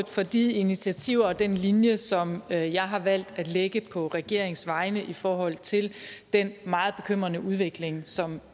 for de initiativer og den linje som jeg jeg har valgt at lægge på regeringens vegne i forhold til den meget bekymrende udvikling som